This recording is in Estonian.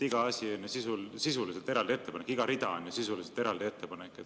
Iga asi on ju sisuliselt eraldi ettepanek, iga rida on sisuliselt eraldi ettepanek.